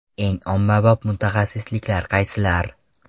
Eng ommabop mutaxassisliklar qaysilar?.